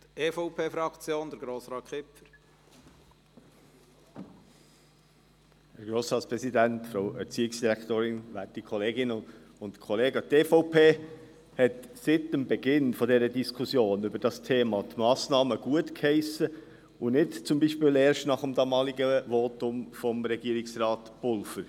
Die EVP hat seit Beginn der Diskussion über dieses Thema die Massnahmen gutgeheissen und nicht zum Beispiel erst nach dem damaligen Votum von Regierungsrat Pulver.